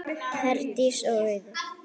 Herdís og Auður.